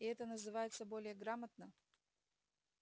и это называется более грамотно